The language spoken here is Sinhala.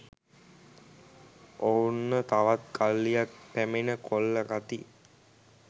ඔවුන්ව තවත් කල්ලියක් පැමිණ කොල්ල කති